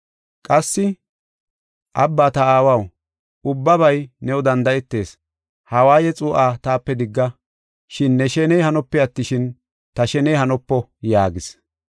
Qassi, “Abba, ta Aawaw, ubbabay new danda7etees, ha waaye xuu7aa taape digga. Shin ne sheney hanope attishin, ta sheney hanopo” yaagis.